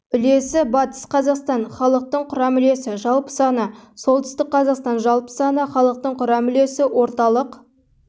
үлесі батыс қазақстан халықтың құрам үлесі жалпы саны солтүстік қазақстан жалпы саны халықтың құрам үлесі орталық